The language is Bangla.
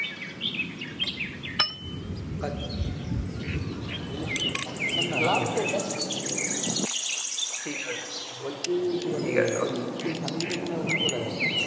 আচ্ছা ঠিক আছে বলছি তোর family কে নিয়ে চলে গেছে